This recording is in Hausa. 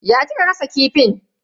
Ya kika gasa kifin?